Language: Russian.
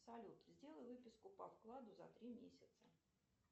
салют сделай выписку по вкладу за три месяца